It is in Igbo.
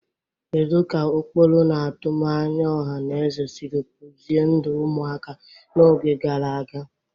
Kedu ka ụkpụrụ na atụmanya ọha na eze siri kpụzie ndụ ụmụaka n'oge gara aga?